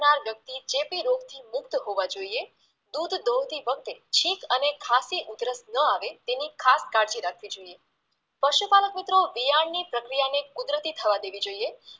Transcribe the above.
નાર વ્યક્તિ ચેપી રોગથી મુક્ત હોવા જોઈએ દૂધ દોવતી વખતે છીંક અને ખાસી ઉધરસ ન આવે તેની ખાસ કાળજી રાખવી જોઈએ પશુપાલક મિત્રો વિયાણની પ્રક્રિયાને કુદરતી થવા દેવી જોઈએ